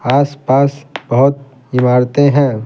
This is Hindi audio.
आस-पास बहुत इमारतें हैं।